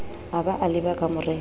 a ba a leba kamoreng